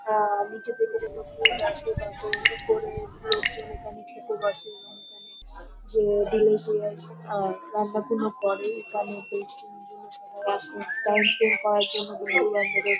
আ নিচে থেকে যত ফুড আসে তাতে করে লোকজন এখানে খেতে বসে এবং এখানে যে ডিলিসিয়াস আহ রান্নাবান্না করে এখানে টেস্টিং জন্যে সবাই আসে টাইম স্পেনড করার জন্য বন্ধু বান্ধবের --